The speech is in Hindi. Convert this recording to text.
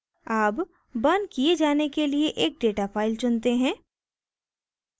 अब burned किये जाने के लिए एक data file चुनते हैं